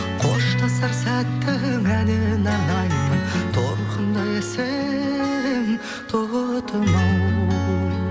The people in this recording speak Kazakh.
қоштасар сәттің әніне арнаймын торғындай әсем тотымау